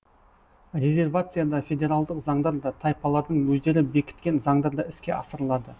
резервацияда федералдық заңдар да тайпалардың өздері бекіткен заңдар да іске асырылады